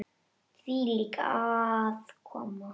Hvílík aðkoma!